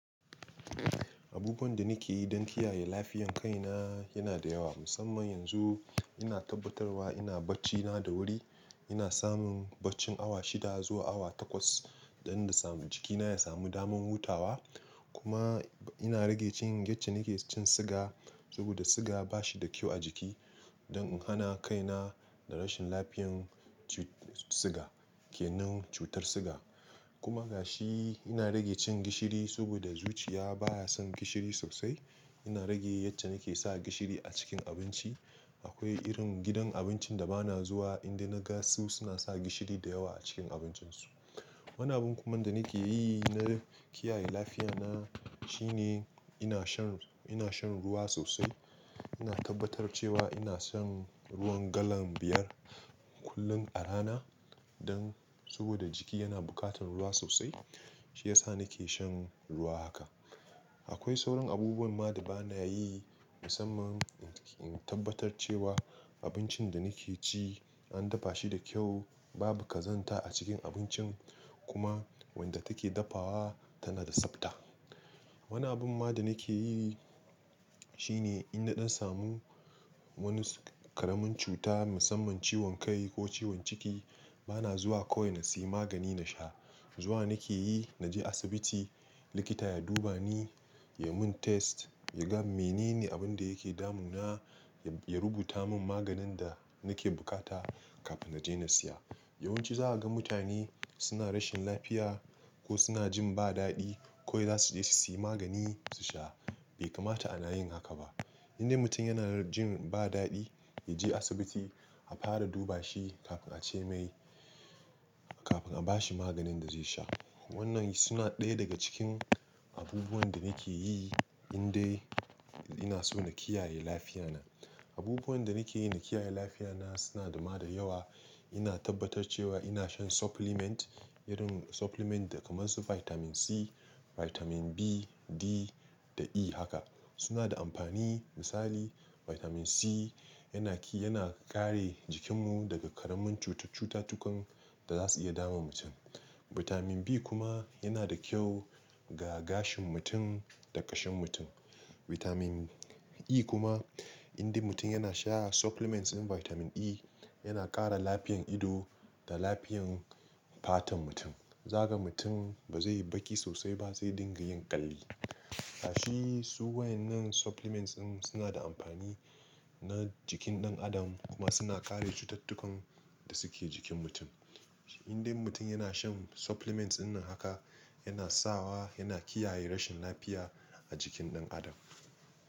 Abubuwan da nake yi don kiyaye lafiyan kai na yana da yawa. Musamman yanzu ina tabbatarwa ina bacci na da wuri. Ina samun bacci awa shida zuwa awa takwas dan da samu jiki na ya samu damar hutawa. Kuma ina rage cin yace nake cin siga, saboda siga bashi da kyau a jiki. Don hana kai na da rashin lafiyan ci-siga kenan cutar siga. Kuma gashi ina rage cin gishiri saboda zuciya baya son gishiri sosai. Ina rage yacce nake sa gishiri a cikin abinci. Akwai irin gidan abincin da bana zuwa inda na ga su suna sa gishiri da yawa a cikin abincin su. Wani abun kuma da nake yi na kiyaye lafiyan na shine ina shan, ina shan ruwa sosai. Ina tabbatar cewa ina shan ruwan galan biyar kullum a rana dan saboda jiki yana bukatan ruwa sosai. Shi yasa nake shan ruwa haka. Akwai sauran abubuwan ma da bana yi musamman in tabbatar cewa abincin da nake ci an dafa shi da kyau, babu kazanta a cikin abincin kuma wanda take dafawa tana da tsabta. Wani abun ma da nake yi shine inda dan samu wani karamin cuta musamman ciwon kai ko ciwon ciki bana zuwa ko ina siyi magani na sha. Zuwa nake yi naje asibiti likita ya duba ni, ya mun test ya ga menene abun da yake damun na ya rubuta mun maganin da nake bukata kafin naje na siya. Yawanci za'a ga mutane suna rashin lafiya ko suna jin ba dadi ko za su je su siya magani su sha. Bai kamata a na yin haka ba. Indai mutum yana jin ba dadi, ya je asibiti a fara duba shi kafin ace mai, kafin a bashi maganin da zai sha. Wannan suna ɗaya daga cikin abubuwan da nake yi indai ina so na kiyaye lafiyan na. Abubuwan da nake yi na kiyaye lafiyan na suna dama da yawa. Ina tabbatar cewa ina shan supplement irin supplement kamar su Vitamin C, Vitamin B, D da E haka. Suna da amfani misali Vitamin C yana ki-- yana kare jikin mu daga karamin cutatukan da za su iya damun mutum. Vitamin B kuma yana da kyau ga gashin mutum da kashin mutum. Vitamin E kuma inda mutum yana sha supplements din Vitamin E yana kara lafiyan ido da lafiyan fatan mutum. Zakaga mutum bazai yi baki sosai ba, zai dinga yin ƙalli. Gashi su wayan nan supplements din suna da amfani na jikin ɗan adam kuma suna kare cututtukan da suke jikin mutum. Indai mutum yana shan supplements dinnan haka yana sawa yana kiyaye rashin lafiya a jikin ɗan adam.